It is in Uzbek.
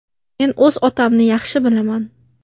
Men o‘z otamni yaxshi bilaman.